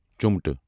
چُمٹہٕ